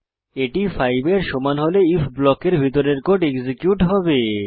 এটি 5 এর সমান হলে আইএফ ব্লকের ভিতরের কোড এক্সিকিউট হবে